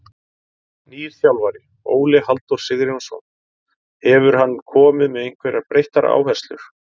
Nýr þjálfari, Óli Halldór Sigurjónsson, hefur hann komið með einhverjar breyttar áherslur?